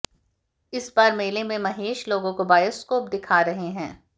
इस बार मेले में महेश लोगों को बाइस्कोप दिखा रहे हैं